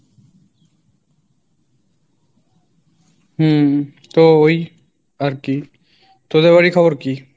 হম তো ওই আরকি তোদের বাড়ির খবর কী?